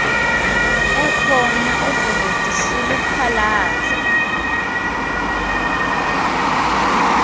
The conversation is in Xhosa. ekhona ubhuti siluphalaze